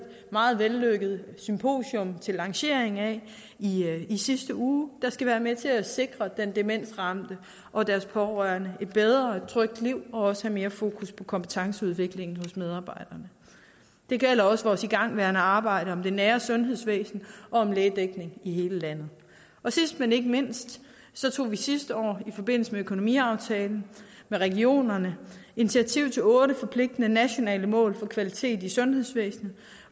meget vellykket symposium til lanceringen af i sidste uge der skal være med til at sikre den demensramte og de pårørende et bedre og et trygt liv og også mere fokus på kompetenceudvikling hos medarbejderne det gælder også vores igangværende arbejde om det nære sundhedsvæsen og om lægedækning i hele landet og sidst men ikke mindst tog vi sidste år i forbindelse med økonomiaftalen med regionerne initiativ til otte forpligtende nationale mål for kvalitet i sundhedsvæsenet